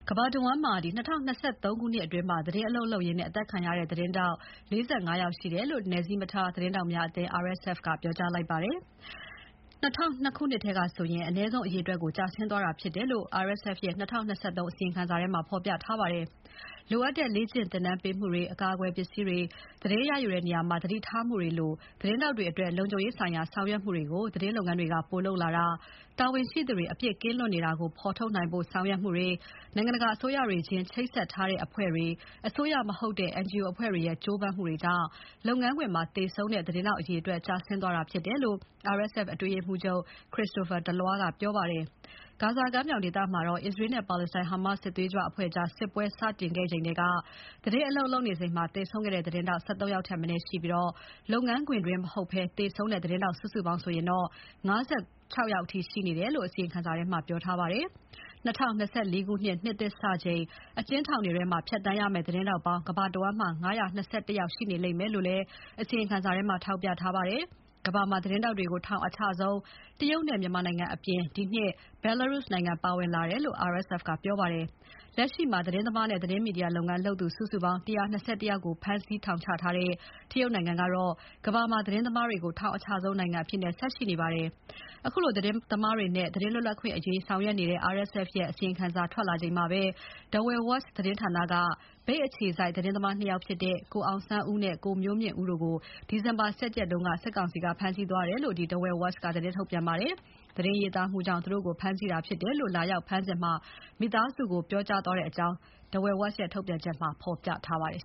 ကမ္ဘာတဝန်းမှာ ၂၀၂၃ ခုနှစ်အတွင်း သတင်း အလုပ်လုပ်ရင်း အသတ်ခံရတဲ့ သတင်းထောက်အရေအတွက်ဟာ ဒီဇင်ဘာ ၁ ရက်နေ့အထိ ၄၅ ယောက် ရှိတယ်လို့ နယ်စည်းမထားဆရာဝန်များအဖွဲ့ RSF ကပြောကြားလိုက်ပါတယ်။ ၂၀၀၂ ခုနှစ်ထဲကဆိုရင် အနည်းဆုံးအရေအတွက်ကို ကျဆင်းသွားတာဖြစ်တယ်လို့ RSF ရဲ့ ၂၀၂၃ ခုနှစ် အစီရင်ခံစာထဲမှာ ဖော်ပြထားပါတယ်။ လိုအပ်တဲ့လေ့ကျင့်သင်တန်းပေးမှုတွေ၊ အကာအကွယ်ပစ္စည်းတွေ၊ သတိရယူတဲ့နေရာမှာ သတိထားမှုတွေလို သတင်းထောက်တွေအတွက် လုံခြုံရေးဆိုင်ရာ ဆောင်ရွက်မှုတွေကို သတင်းလုပ်ငန်းတွေက ပိုလုပ်လာတာ၊ တာဝန်ရှိသူတွေ အပြစ်ကင်းလွတ်နေတာကို ဖော်ထုတ်နိုင်ဖို့ ဆောင်ရွက်မှုတွေ၊ နိုင်ငံတကာအစိုးရတွေချင်း ချိတ်ဆက်ထားတဲ့ အဖွဲ့တွေ၊ အစိုးရအဖွဲ့မဟုတ်တဲ့ အဖွဲ့တွေရဲ့ ကြိုးပမ်းမှုတွေကြောင့် လုပ်ငန်းခွင်မှာသေဆုံးတဲ့သတင်းထောက်အရေအတွက် ကျဆင်းသွားတာဖြစ်တယ်လို့ RSF အတွင်းရေးမှူးချုပ် Christophe Deloire ကပြောပါတယ်။ ဂါဇာကမ်းမြောင်ဒေသမှာတော့ အစ္စရေးနဲ့ ပါလက်စတိုင်း ဟာမတ်စ်စစ်သွေးကြွအဖွဲ့ကြား စစ်ပွဲစတင်ခဲ့ချိန်ထဲက သတင်းအလုပ်လုပ်နေစဉ်သေဆုံးတဲ့ သတင်းထောက် ၁၃ ယောက်ထက်မနည်းရှိပြီး၊ လုပ်ငန်းခွင်တွင်းမဟုတ်ဘဲ သေဆုံးတဲ့ သတင်းထောက် စုစုပေါင်းဆိုရင်တော့ ၅၆ ယောက်အထိရှိနေတယ်လို့ အစီရင်ခံစာမှာ ပြောထားပါတယ်။ ၂၀၂၄ ခုနှစ် နှစ်သစ်စချိန် အကျဉ်းထောင်တွေထဲမှာ ဖြတ်သန်းရမယ့် သတင်းထောက်ပေါင်း ကမ္ဘာတဝန်းမှာ ၅၂၁ ယောက်ရှိနေလိမ့်မယ်လို့လည်း အစီရင်ခံစာထဲမှာ ထောက်ပြထားပါတယ်။ ကမ္ဘာမှာ သတင်းထောက်တွေကို ထောင်အချဆုံး တရုတ်နဲ့ မြန်မာအပြင် ဒီနှစ် ဘယ်လာရုစ် နိုင်ငံပါဝင်လာတယ်လို့ RSF ကပြောပါတယ်။ လက်ရှိမှာ သတင်းသမားနဲ့ သတင်းမီဒီယာလုပ်ငန်းလုပ်သူ စုစုပေါင်း ၁၂၁ ယောက်ကို ဖမ်းဆီးထောင်ချထားတဲ့ တရုတ်နိုင်ငံကတော့ ကမ္ဘာမှာ သတင်းသမားတွေကို ထောင်အချဆုံးနိုင်ငံအဖြစ် ဆက်ရှိနေပါတယ်။ အခုလို သတင်းသမားတွေနဲ့ သတင်းလွတ်လပ်ခွင့်အရေးဆောင်ရွက်နေတဲ့ RSF ရဲ့ အစီရင်ခံစာထွက်လာချိန်မှာပဲ Dawei Watch သတင်းဌာနက မြိတ်အခြေစိုက် သတင်းသမား ၂ ယောက်ဖြစ်တဲ့ ကိုအောင်ဆန်းဦးနဲ့ ကိုမျိုးမြင့်ဦးတို့ကို ဒီဇင်ဘာ ၁၁ ရက်က ဖမ်းဆီးသွားတယ်လို့ Dawei Watch ကသတင်းထုတ်ပြန်ပါတယ်။ သတင်းရေးသားမှုကြောင့် သူတို့ကိုဖမ်းဆီးတာဖြစ်တယ်လို့ လာရောက်ဖမ်းစဉ် ပြောကြားသွားတယ်လို့ ထုတ်ပြန်ချက်မှာ ဖော်ပြထားပါတယ်